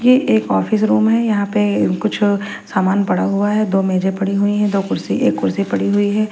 ये एक office room है यहां पे कुछ अ सामान पड़ा हुआ है दो मेजे पड़ी हुई हैं दो कुर्सी एक कुर्सी पड़ी हुई है।